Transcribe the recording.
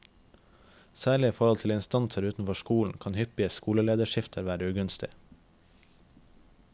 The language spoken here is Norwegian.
Særlig i forhold til instanser utenfor skolen kan hyppige skolelederskifter være ugunstig.